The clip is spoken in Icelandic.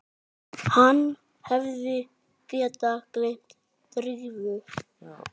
Hann hefði getað gleymt Drífu.